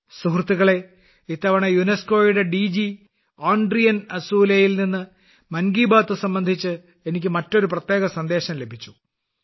സുഹൃത്തുക്കളേ ഇത്തവണ യുനെസ്കോ യുടെ ഡി ജി ഓഡ്രി അസൂലേയിൽ ഓഡ്രി അസോളി നിന്ന് മൻ കി ബാത് സംബന്ധിച്ച് എനിക്ക് മറ്റൊരു പ്രത്യേക സന്ദേശം ലഭിച്ചു